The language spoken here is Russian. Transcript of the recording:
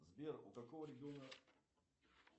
сбер у какого региона